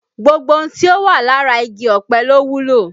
Gbogbo ohun tí ó wà lára igi ọ̀pẹ ló wúlò